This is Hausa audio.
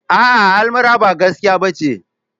A'a almara ba gaskiya bace.